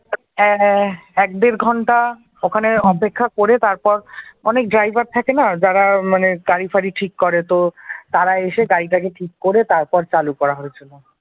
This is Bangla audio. হ্যাঁ হ্যাঁ এক দেড় ঘন্টা ওখানে অপেক্ষা করে তারপর অনেক ড্রাইভার থাকে না যারা মানে গাড়ি ফারি ঠিক করে, তো তারা এসে গাড়িটাকে ঠিক করে তারপর চালু করা হয়েছিল